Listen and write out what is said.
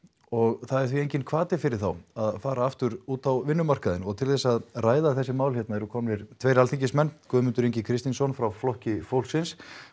og það er því enginn hvati fyrir þá að fara aftur út á vinnumarkaðinn og til þess að ræða þessi mál eru komnir tveir Alþingismenn Guðmundur Ingi Kristinsson frá Flokki fólksins